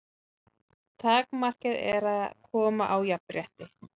Takmarkið er að koma á jafnrétti.